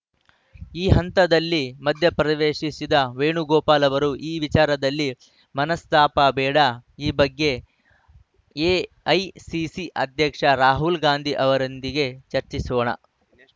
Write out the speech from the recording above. ಈ ಹಂತದಲ್ಲಿ ಮಧ್ಯಪ್ರವೇಶಿಸಿದ ವೇಣುಗೋಪಾಲ್‌ ಅವರು ಈ ವಿಚಾರದಲ್ಲಿ ಮನಸ್ತಾಪ ಬೇಡ ಈ ಬಗ್ಗೆ ಎಐಸಿಸಿ ಅಧ್ಯಕ್ಷ ರಾಹುಲ್‌ ಗಾಂಧಿ ಅವರೊಂದಿಗೆ ಚರ್ಚಿಸೋಣ